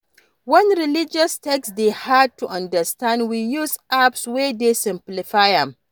When religious text dey hard to understand we use apps wey dey simplify am